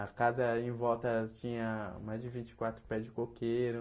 A casa em volta tinha mais de vinte e quatro pés de coqueiro.